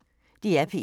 DR P1